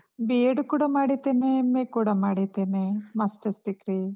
B.Ed ಕೂಡ ಮಾಡಿದ್ದೇನೆ, MA ಕೂಡ ಮಾಡಿದ್ದೇನೇ, masters degree .